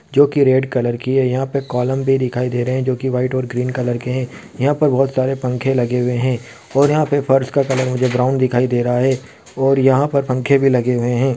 जोकि red colour की है यहाँ पे एक क्लोम भी दिखाई दे रहे है जोकि व्हाइट और ग्रीन कलर के है यहाँ पर बहुत सारे पंखे लगे हुए है और यहाँ पे मुझे फर्श का कलर ब्राउन दिखाई रहा है और यहाँ पर पंखे भी लगे हुए है।